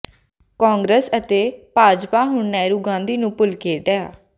ਕਾਂਗਰਸ ਅਤੇ ਭਾਜਪਾ ਹੁਣ ਨਹਿਰੂ ਗਾਂਧੀ ਨੂੰ ਭੁੱਲ ਕੇ ਡਾ